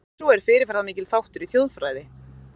Þjóðtrú er fyrirferðamikill þáttur í þjóðfræði.